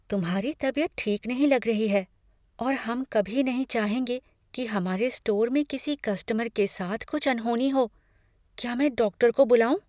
तुम्हारी तबियत ठीक नहीं लग रही है और हम कभी नहीं चाहेंगे कि हमारे स्टोर में किसी कस्टमर के साथ कुछ अनहोनी हो। क्या मैं डॉक्टर को बुलाऊँ?